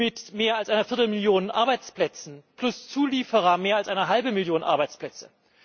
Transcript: mit mehr als einer viertel Million Arbeitsplätze, plus Zulieferer mehr als einer halben Million Arbeitsplätze?